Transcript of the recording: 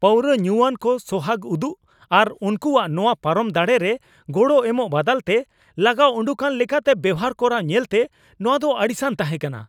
ᱯᱟᱣᱨᱟᱹ ᱧᱩᱣᱟᱱ ᱠᱚ ᱥᱚᱦᱟᱜᱽ ᱩᱫᱩᱜ ᱟᱨ ᱩᱱᱠᱩᱣᱟᱜ ᱱᱚᱶᱟ ᱯᱟᱨᱚᱢ ᱫᱟᱲᱮ ᱨᱮ ᱜᱚᱲᱚ ᱮᱢᱚᱜ ᱵᱟᱫᱟᱞᱛᱮ ᱞᱟᱜᱟ ᱩᱰᱩᱠᱟᱱ ᱞᱮᱠᱟᱛᱮ ᱵᱮᱣᱦᱟᱨ ᱠᱚᱨᱟᱣ ᱧᱮᱞᱛᱮ ᱱᱚᱶᱟ ᱫᱚ ᱟᱹᱲᱤᱥᱟᱱ ᱛᱟᱦᱮᱸ ᱠᱟᱱᱟ ᱾